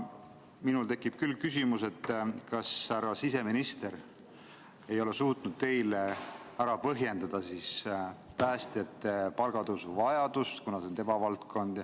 Minul tekib küll küsimus, kas härra siseminister ei ole suutnud teile ära põhjendada päästjate palgatõusu vajadust, kuna see on tema valdkond.